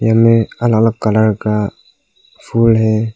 इनमें अलग अलग कलर का फूल है।